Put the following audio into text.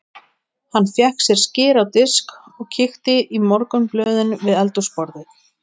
Hann fékk sér skyr á disk og kíkti í morgunblöðin við eldhúsborðið.